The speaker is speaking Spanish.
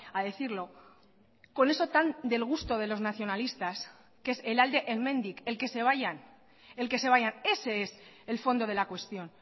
a decirlo con eso tan del gusto de los nacionalistas que es el alde hemendik el que se vayan el que se vayan ese es el fondo de la cuestión